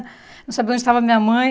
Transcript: Não sabia onde estava minha mãe.